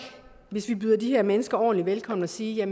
hvis vi byder de her mennesker ordentligt velkommen og siger